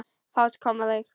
Fát kom á mig.